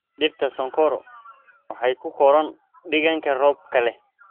Dhirta sonkoro waxay ku koraan deegaan roobka leh.